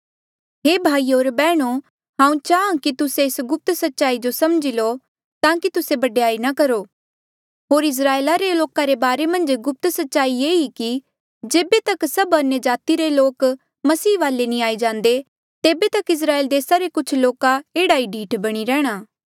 हे भाईयो होर बैहणो हांऊँ चाहाँ कि तुस्से एस गुप्त सच्चाई जो समझी लो ताकि तुस्से बडयाई ना करो होर इस्राएल रे लोका रे बारे मन्झ गुप्त सच्चाई ये ही कि जेबे तक सब अन्यजाति रे लोक मसीह वाले नी आई जांदे तेबे तक इस्राएल देसा रे कुछ लोका एह्ड़े ही ढीठ बणी रैंह्णां